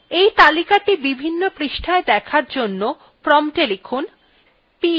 এই তালিকাthe বিভিন্ন পৃষ্ঠায় দেখার জন্য prompta লিখুন